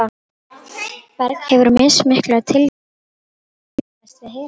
Berg hefur mismikla tilhneigingu til að ummyndast við hita.